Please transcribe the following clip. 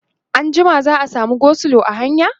anjima za'a samu go slow a hanya?